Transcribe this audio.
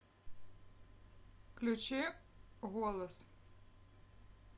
включи голос